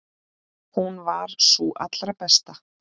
Hún var sú allra besta.